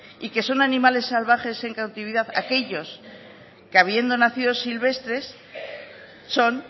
y que son animales salvajes en cautividad aquellos que habiendo nacido silvestres son